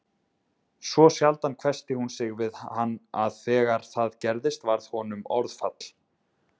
Svo sjaldan hvessti hún sig við hann að þegar það gerðist varð honum orðfall